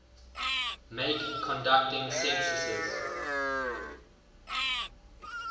make conducting censuses